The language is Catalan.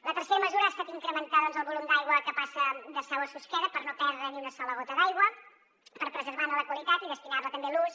la tercera mesura ha estat incrementar doncs el volum d’aigua que passa de sau a susqueda per no perdre ni una sola gota d’aigua per preservar ne la qualitat i destinar la també a l’ús